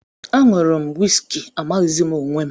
Añụru m wisiki amaghịzi m onwe m